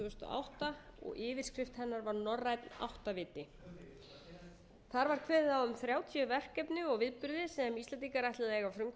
átta og yfirskrift hennar var norrænn áttaviti þar var kveðið á um þrjátíu verkefni og viðburði sem íslendingar ætluðu að eiga frumkvæði að auk